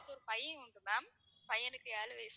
அடுத்து ஒரு பையன் உண்டு ma'am பையனுக்கு ஏழு வயசு.